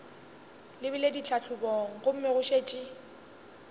lebile ditlhahlobong gomme go šetše